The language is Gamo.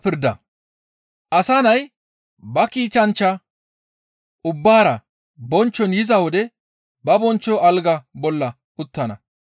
«Asa Nay ba kiitanchchata ubbaara bonchchon yiza wode ba bonchcho alga bolla uttana.